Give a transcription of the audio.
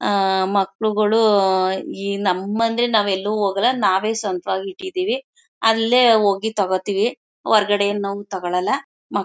ಆ ಮಕ್ಕಳುಗಳು ಉ ಈ ನಮ್ಮ್ ಮನೇಲಿ ನಾವು ಎಲ್ಲು ಹೋಗಲ್ಲ ನಾವೇ ಸ್ವಂತವಾಗಿ ಇಟ್ಟಿದ್ದೀವಿ ಅಲ್ಲೇ ಹೋಗಿ ತಗೋತೀವಿ ಹೊರಗಡೆಯಿಂದ ನಾವು ತಗೋಳಲ್ಲ ಮ.